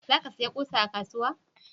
za ka saya ƙusa a kasuwa?